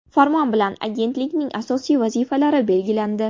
Farmon bilan Agentlikning asosiy vazifalari belgilandi.